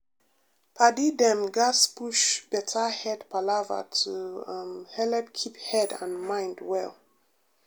padi dem gatz push better head palava to um helep keep head and mind well.